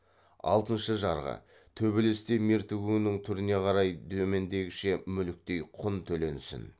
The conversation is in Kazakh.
алтыншы жарғы төбелесте мертігуің түріне қарай төмендегіше мүліктей құн төленсін